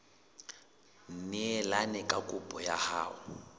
neelane ka kopo ya hao